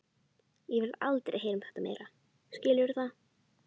Ég vil aldrei heyra um þetta meira, skilurðu það?